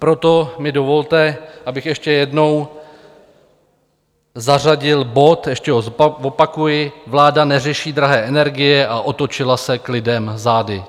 Proto mi dovolte, abych ještě jednou zařadil bod, ještě ho zopakuji: Vláda neřeší drahé energie a otočila se k lidem zády.